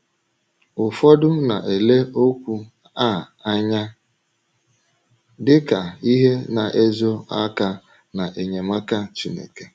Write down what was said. Ụfọdụ na - ele okwu a anya dị ka ihe na - ezo aka n’enyemaka Chineke.